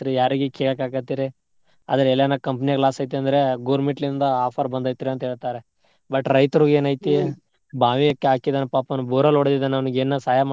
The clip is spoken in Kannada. ಯಾರಿಗೆ ಕೇಳಕಾಕತ್ತೀರಿ ಆದ್ರೆ ಎಲ್ಲಾನ company ಯವ್ರ್ಗ್ loss ಅತಂದ್ರ government ಯಿಂದ offer ಬಂದೇತ್ರಿ ಅಂತ್ ಹೇಳ್ತಾರ. but ರೈತರಗೆನೈತಿ ಬಾವಿ ಹಾಕ್ದವ್ನು ಪಾಪ ಅವ್ನು borewell ಹೊಡದಿದ್ದನ್ ಅವ್ರಿಗೆ ಏನಾರೆ ಸಹಾಯ